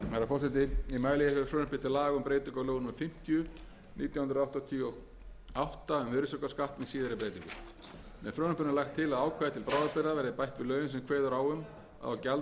númer fimmtíu nítján hundruð áttatíu og átta um virðisaukaskatt með síðari breytingum með frumvarpinu er lagt til að ákvæði til bráðabirgða verði bætt við lögin sem kveður á um að á gjalddaga